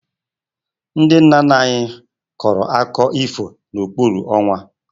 Ndị nna nna anyị kọrọ akụkọ ifo n'okpuru ọnwa